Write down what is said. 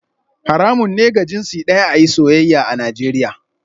Haramun ne ga jinsi daya a yi soyayya a Najeriya